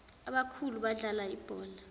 abakhulu badlala ibhola